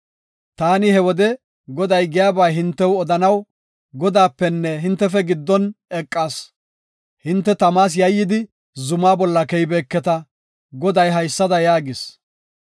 Taani he wode Goday giyaba hintew odanaw, Godaapenne hintefe giddon eqas. Hinte tamas yayyidi zumaa bolla keyibeketa. Goday haysada yaagis.